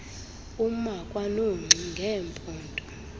uma kwanongxi ngeempondo